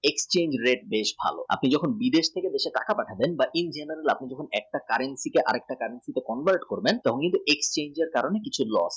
exchange rate বেশ ভালো আপনি যখন বিদেশ থেকে দেশে পাঠাবেন দুই বা তিন দিনে একটা currency থেকে একটা currency তে convert করবেন তখন exchangএ এর কারণে কিছু loss